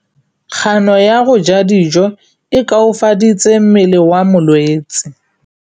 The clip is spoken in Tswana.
Kganô ya go ja dijo e koafaditse mmele wa molwetse.